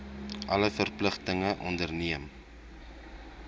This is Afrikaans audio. alle verpligtinge onderneem